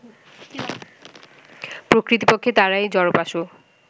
প্রকৃতপক্ষে তাঁহারাই জড়োপাসক